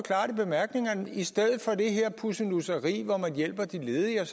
i stedet for det her pussenusseri med at man hjælper de ledige og